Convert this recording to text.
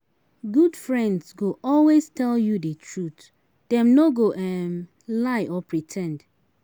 Good friends go always tell you de truth dem no go um lie or pre ten d